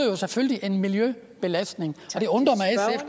jo selvfølgelig en miljøbelastning